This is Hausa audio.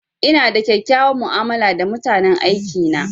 Ina da kyakkyawan mu'amala da mutanen aiki na.